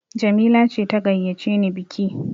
Jamila ce ta gayyace ni biki!